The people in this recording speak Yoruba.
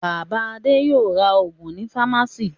Bàbá Adé yóò ra òògùn ní fámásíì.